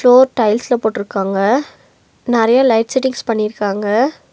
Floor டைல்ஸ்ல போட்டுருக்காங்க நெறைய லைட் செட்டிங்ஸ் பண்ணிருக்காங்க.